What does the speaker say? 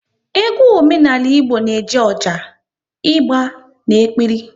Egwu omenala Igbo na-eji ọjà, ịgba na-ekpiri